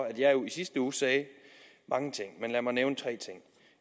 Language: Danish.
at jeg jo i sidste uge sagde mange ting men lad mig nævne tre ting